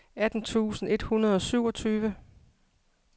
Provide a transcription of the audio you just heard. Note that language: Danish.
atten tusind et hundrede og syvogtyve